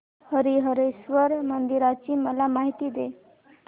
हरीहरेश्वर मंदिराची मला माहिती दे